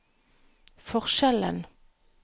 forskjellen